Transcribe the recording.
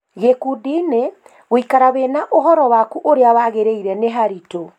Gĩkundiinĩ, gũikara wĩna ũhoro waku ũrĩa wagĩrĩire nĩharitũ